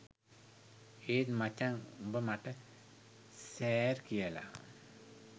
ඒත් මචං උඹ මට සෑර් කියලා